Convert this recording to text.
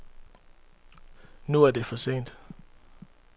Nu er det for sent.